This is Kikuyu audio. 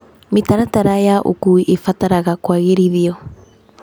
Mĩtaratara ya ũkuui ĩbataraga kũagĩrithio.